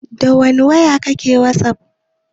Dawani waya kake wasaf?